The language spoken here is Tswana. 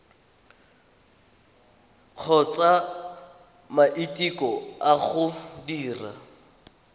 kgotsa maiteko a go dira